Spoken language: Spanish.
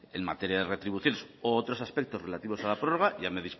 en materia de retribuciones u otros aspectos relativos a la prórroga ya me